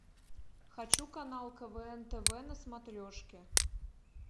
хочу канал квн тв на смотрешке